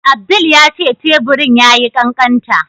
Abdul ya ce teburin ya yi ƙaƙanta.